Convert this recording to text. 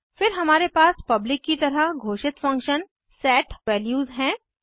फिर हमारे पास पब्लिक की तरह घोषित फंक्शन set values हैं